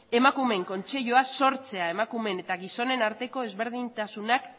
emakumeen kontseilua sortzea emakumeen eta gizonen arteko ezberdintasunak